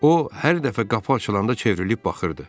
O hər dəfə qapı açılanda çevrilib baxırdı.